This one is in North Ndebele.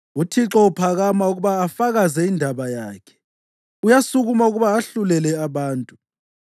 UThixo uphakama ukuba afakaze indaba yakhe, uyasukuma ukuba ahlulele abantu.